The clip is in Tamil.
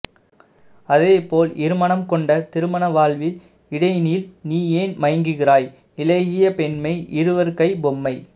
அதேபோல் இருமனம் கொண்ட திருமண வாழ்வில் இடையினில் நீயேன் மயங்குகிறாய் இளகிய பெண்மை இருவர் கை பொம்மை